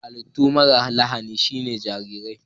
Hallitu mara lahani sune jarirai.